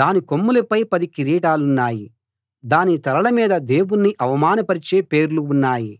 దాని కొమ్ములపై పది కిరీటాలున్నాయి దాని తలల మీద దేవుణ్ణి అవమానపరిచే పేర్లు ఉన్నాయి